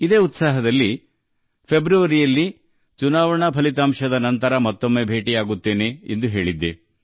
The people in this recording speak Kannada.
ಇದೇ ಭಾವನೆಯಿಂದ ಫೆಬ್ರವರಿಯಲ್ಲಿ ಚುನಾವಣಾ ಫಲಿತಾಂಶದ ನಂತರ ಮತ್ತೆ ಭೇಟಿಯಾಗುತ್ತೇನೆ ಎಂದು ಹೇಳಿದ್ದೆ